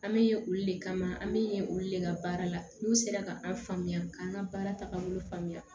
An bɛ ye olu le kama an bɛ ye olu de ka baara la n'u sera ka an faamuya k'an ka baara tagabolo faamuya